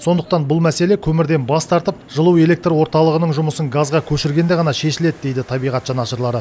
сондықтан бұл мәселе көмірден бас тартып жылу электр орталығының жұмысын газға көшіргенде ғана шешіледі дейді табиғат жанашырлары